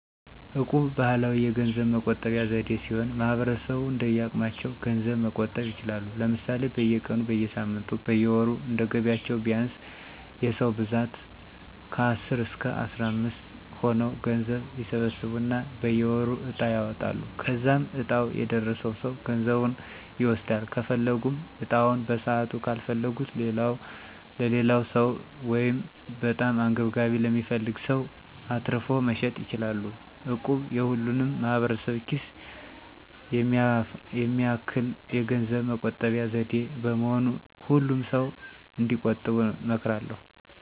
እቁብ ባህላዊ የገንዘብ መቆጠቢያ ዘዴ ሲሆን ማህበረሰቡ እንደየአቅማቸው ገንዘብ መቆጠብ ይችላሉ። ለምሳሌ፦ በየቀኑ, በየሳምንቱ ,በየወሩ እንደየገቢያቸው ቢያንስ የ ሰዉ ብዛት ከአስር እስከ አስራምስት ሆነው ገንዘብ ይሰበስቡና በየወሩ ዕጣ ያወጣሉ. ከዛም ዕጣው የደረሰው ሰው ገንዘቡን ይወስዳል .ከፈለጉም ዕጣውን በሰዓቱ ካልፈለጉት ለሌላው ሰው(በጣም አንገብጋቢ ለሚፈልግ ሰው)አትርፎ መሸጥ ይችላሉ። እቁብ የሁሉንም ማህበረሰብ ኪስ የሚያማክል የገንዘብ መቆጠቢያ ዘዴ በመሆኑ ሁሉም ሰዉ እንዲጥሉ እመክራለሁ።